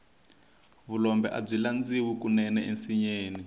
vulombe abyi landziwa kunene ensinyeni